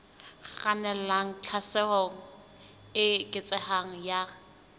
kgannelang tlhaselong e eketsehang ya